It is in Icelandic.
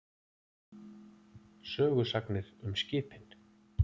Sögusagnir um skipin.